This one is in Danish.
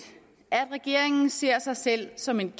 at regeringen ser sig selv som en